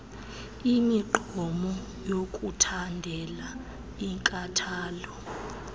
imigqomo yokuthandela inkathalo